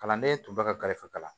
Kalanden tun bɛ ka galefe kalan